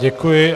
Děkuji.